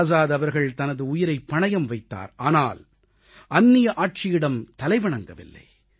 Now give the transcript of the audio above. ஆசாத் அவர்கள் தனது உயிரைப் பணயம் வைத்தார் ஆனால் அந்நிய ஆட்சியிடம் தலைவணங்கவில்லை